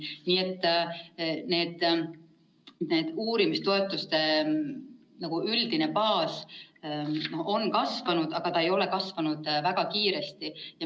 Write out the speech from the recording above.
Nii et uurimistoetuste üldine baas on kasvanud, aga see ei ole kasvanud väga kiiresti.